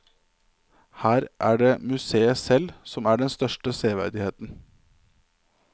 Her er det museet selv som er den største severdigheten.